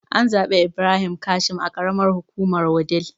An zaɓi Ibrahim Kashim a karamar hukumar wudil